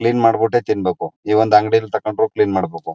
Clean ಮಾಡ್ಬಿಟ್ಟೆ ತಿನ್ಬೇಕು ಈ ಒಂದ್ ಅಂಗಡಿಲಿ ತಕೊಂಡ್ರು ಕ್ಲೀನ್ ಮಾಡಬೇಕು.